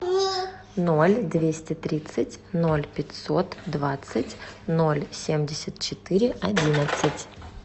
ноль двести тридцать ноль пятьсот двадцать ноль семьдесят четыре одиннадцать